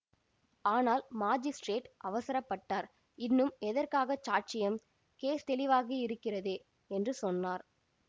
ஆனால் மாஜிஸ்ட்ரேட் அவசரப்பட்டார் இன்னும் எதற்காகச் சாட்சியம் கேஸ் தெளிவாக இருகிறதே என்று சொன்னார்